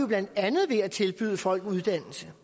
blandt andet ved at tilbyde folk uddannelse